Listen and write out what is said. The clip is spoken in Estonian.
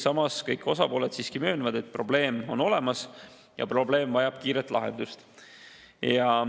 Samas kõik osapooled siiski möönavad, et probleem on olemas ja vajab kiiret lahendust.